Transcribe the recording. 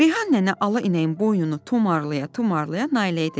Reyhan nənə ala inəyin boynunu tumarlaya-tumarlaya Nailəyə dedi: